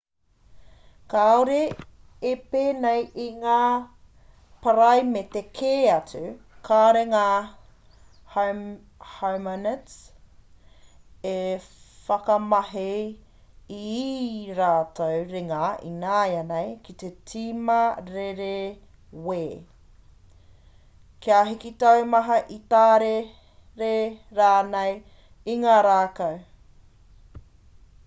kāore e pēnei i ngā paraimete kē atu kāore ngā homonids e whakamahi i ī rātou ringa ināianei ki te tima rerewē kia hiki taumaha ki tārere rānei i ngā rākau